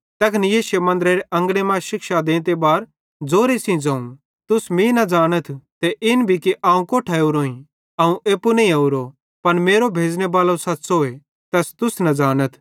तैखन यीशुए मन्दरे अंगने मां शिक्षा देते बारे ज़ोरे सेइं ज़ोवं तुस मीं ज़ानतथ ते इन भी कि अवं कोट्ठां ओरोईं अवं एप्पू नईं ओरो पन मेरो भेज़ने बालो सच़्च़ोए तैस तुस न ज़ानाथ